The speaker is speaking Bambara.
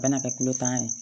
Bɛna kɛ kulo tanna ye